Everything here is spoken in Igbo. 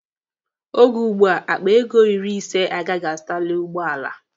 Oge ugbua, akpa ego iri ise agaghị azụtali ụgbọala.